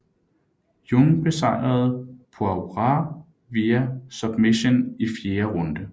Jung besejrede Poirier via submission i fjerde runde